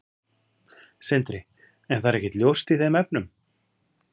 Sindri: En það er ekkert ljóst í þeim efnum?